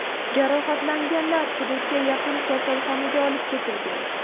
Jarohatlanganlar hududga yaqin kasalxonaga olib ketilgan.